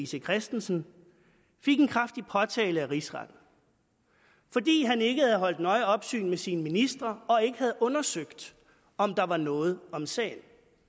c christensen fik en kraftig påtale af rigsretten fordi han ikke havde holdt nøje opsyn med sine ministre og ikke havde undersøgt om der var noget om sagen